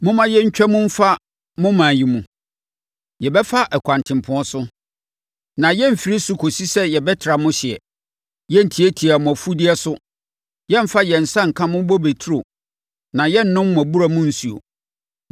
“Momma yɛntwa mu mfa mo ɔman yi mu. Yɛbɛfa ɛkwan tempɔn so, na yɛremfiri so kɔsi sɛ yɛbɛtra mo hyeɛ. Yɛrentiatia mo mfudeɛ so, yɛremfa yɛn nsa nka mo bobe nturo, na yɛrennom mo abura mu nsuo.”